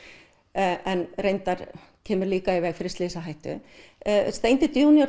en kemur líka í veg fyrir slysahættu